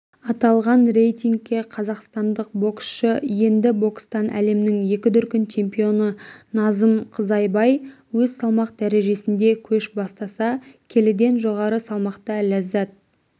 аталған рейтингке қазақстандық боксшы енді бокстан әлемнің екі дүркін чемпионы назым қызайбай өз салмақ дәрежесінде көш бастаса келіден жоғары салмақта ләззат